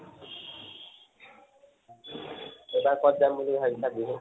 এবাৰ কত যাম বুলি ভাবিছা বিহুত?